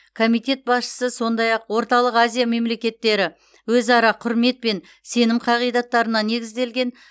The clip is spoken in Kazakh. комитет басшысы сондай ақ орталық азия мемлекеттері өзара құрмет пен сенім қағидаттарына негізделген